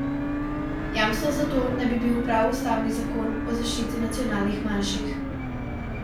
Jamstvo za to naj bi bil prav ustavni zakon o zaščiti nacionalnih manjših.